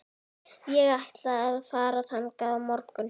Ég ætla að fara þangað á morgun.